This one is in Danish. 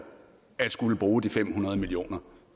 at skulle bruge fem hundrede million kr